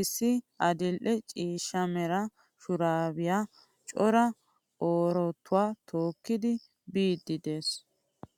Issi adil'e ciishshaa mera shurabiyaa cora orotuwaa tookidi biidi de'ees.